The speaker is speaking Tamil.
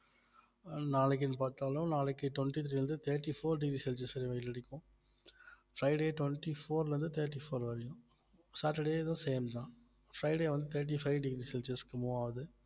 நாளைக்குன்னு பார்த்தாலும் நாளைக்கு twenty-three ல இருந்து thirty-four degree celsius ல வெயிலுக்கு அடிக்கும் fridaytwenty-four ல இருந்து thirty-four வரையும் saturday இதுவும் same தான் friday வந்து thirty-five degree celsius க்கு move ஆகுது